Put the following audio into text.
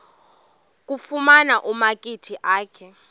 kufuna umakhi akhe